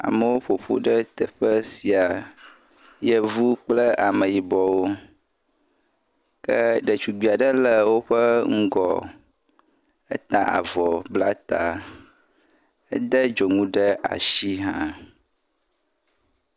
Amewo ƒo ƒu ɖe teƒe sia. Yevu kple ameyibɔwo ke ɖetugbui aɖe le woƒe ŋgɔ. Eta avɔ, bla ta, ede dzonu ɖe asi hã.